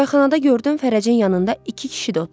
Çayxanada gördüm Fərəcin yanında iki kişi də oturub.